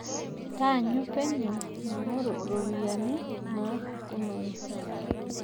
Taanyu penyo maing'oru ropiyiani nashukunore.